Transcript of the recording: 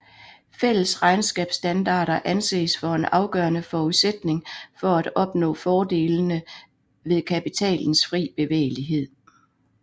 Fælles regnskabsstandarder anses for en afgørende forudsætning for at opnå fordelene ved kapitalens fri bevægelighed